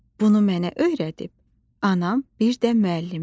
Bunu mənə öyrədib anam bir də müəllimim.